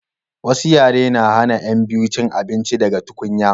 wasu yare na hana yan biyu cin abinci daga tukunya